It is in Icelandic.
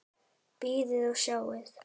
Bíðið og sjáið!